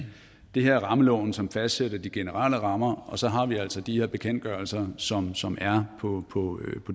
det her rammeloven som fastsætter de generelle rammer og så har vi altså de her bekendtgørelser som som er på